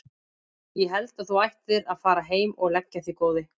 Ég held að þú ættir að fara heim og leggja þig góði!